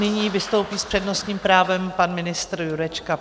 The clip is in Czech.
Nyní vystoupí s přednostním právem pan ministr Jurečka.